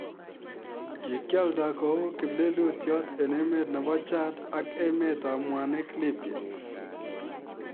Kikialdaa kouu kiplelutyot eng emet nebo jad ak emeet ab mwanik lipya